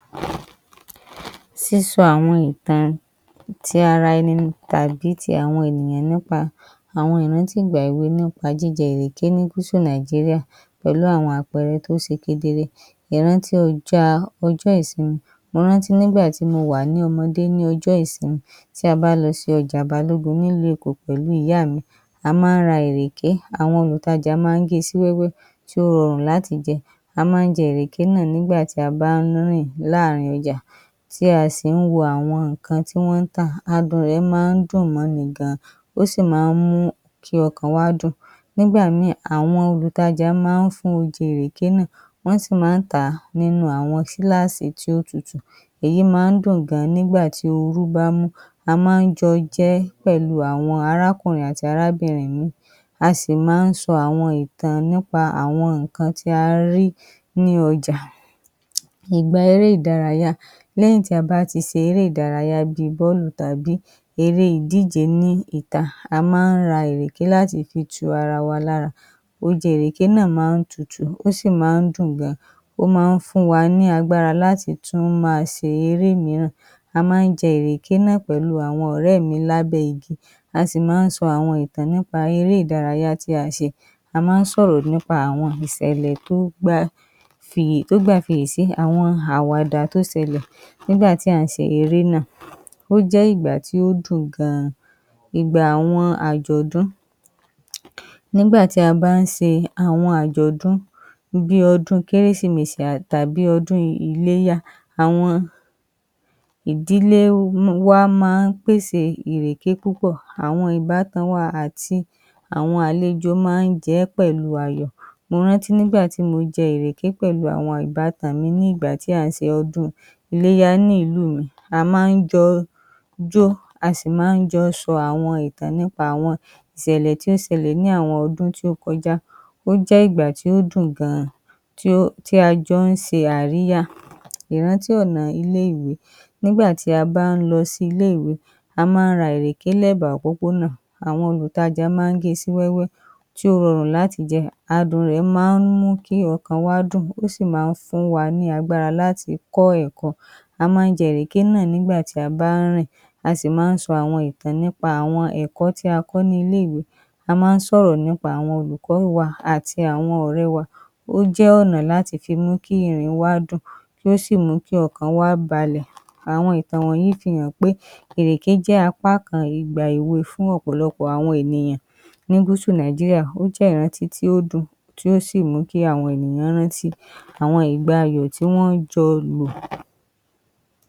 Sísun àwọn ìtan ti ara ẹni tàbí ti àwọn ènìyàn nípa àwọn ìrántí ìgbà èwe, nípa jíjẹ ìrèké ní gúsù Nàìjíríà, pẹ̀lú àwọn àpẹrẹ tó ṣe kedere. Mo rántí ọjọ́ọ, ọjọ́ ìsinmi, mo rántí nígbà tí mo wà ní ọmọdé ní ọjọ́ ìsinmi, tí a bá lọ sí ọjà Balógun, ní ìlú Èkó, pẹ̀lúu ìyá mi, a má ń ra ìrèké, àwọn olùtajà ma ń gée sí wẹ́wẹ́ tí ó rọrùn láti jẹ. A má ń jẹ ìrèké nà nígbà tí a bá ń rìn láàrín ọjà, tí a sì ń wo àwọn ǹkan tí wọ́n ń tà, adùn-un rẹ̀ ma ń dùn mọ́ ni gan, ó sì má ń mú kí ọkàn wa dûn, nígbà míì, àwọn olùtajà ma ń fún ọjè ìrèké náà, wọ́n sì má ń tàá nínu àwọn gílásî tí ó tutù, èyí ma ń dùn gan nígbà tí orú bá mú, a má ń jọ jẹ ẹ́ pẹ̀lúu àwọn arákùnrin àti arábìnrin mi, a sì má ń sọ àwọn ìtàn nípa àwọn ǹkan tí a rí nínu ọjà. Ìgba eré ìdárayá, lẹ́yìn tí a bá ti ṣe eré ìdárayá bíi bálù tàbí eré ìdíje ní ìta, a má ń ra ìrèké láti fi tu ara wa lára oje ìrèké náà má ń tutù, ó sì má ń dùn gan, ó má ń fún wa ní agbára láti tún ma ṣe eré míràn, a má ń jẹ ìrèké náà pẹ̀lú àwọn ọ̀rè mi lábẹ́ igi, a sì má ń sọ àwọn ìtàn nípa eré ìdárayá tí a ṣe, a má ń sọ̀rọ̀ nípa àwọn ìṣẹ̀lẹ̀ tó gbà fi, tó gbà fi ìyè sí àwọn àwàdà tó ṣẹlẹ̀ nígbà tí à ń ṣe eré náà. Ó jẹ́ ìgbà tí ó dùn gan, ìgbà àwọn àjọ̀dún, nígbà tí a bá ń ṣe àwọn àjọ̀dún bíi ọdún-un kérésìmesì tàbí ọdún iléyá, àwọn ìdílé wa ma ń pèse ìrèké púpọ̀. Àwọn ìbátan wa àti àwọn àlejò ma ń jẹ ẹ́ pẹ̀lúu ayọ̀, mo rántí nígbà tí mo jẹ ìrèké pẹ̀lúu àwọn ìbátan mi nígbà tí à ń ṣe ọdún iléyá ní ìlú mi, a má ń jọ jó, a sì má jọ ń sọ àwọn ìtàn nípa àwọn ìṣẹ̀lẹ̀ tó ṣẹlẹ̀ ní àwọn ọdún tó kọjá. Ó jẹ́ ìgbà tí ó dùn gan, tí ó, tí a jọ ń ṣe àríyá. Ìrántí ọ̀nà ilé-ìwé, nígbà tí a bá ń lọ sí ilé-ìwé, a má ń ra ìrèké lẹ́gbà òpópó nà, àwọn olùtajà ma ń ge sí wẹ́wẹ́, tí ó rọrùn láti jẹ, adùn-un rẹ̀ ma ń mú kí ọkàn wa dûn, ó sì má ń fún wa ní agbára láti kọ́ ẹ̀kọ́. A má ń jẹ ìrèké nà nígbà tí a bá ń rìn, a sì má ń sọ ìtàn nípa àwọn ẹ̀kọ́ tí a kọ́ ní ilé-ìwé. A má ń sọ̀rọ̀ nípa olùkọ́ wa àti àwọn ọ̀rẹ́ wa, ó jẹ́ ọ̀nà láti fi mú kí ìrìn wa dûn, kí ó sì mú kí ọkàn wa balẹ̀, àwọn ìtàn wọ̀nyí fi hàn pé ìrèké jẹ́ apá kan ìgbà èwe fún ọ̀pọ̀lọpọ̀ àwọn ènìyàn ní gúsù Nàìjíríà, ó jẹ́ ìrántí tí ó dùn, tí ó sì mú kí àwọn ènìyàn rántí àwọn ìgbà ayọ̀ tí wọ́n jọ lò.